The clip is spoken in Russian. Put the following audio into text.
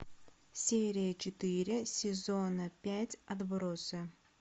серия четыре сезона пять отбросы